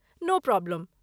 नो problem.